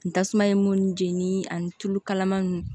N tasuma ye mun jeni ani tulu kalaman nunnu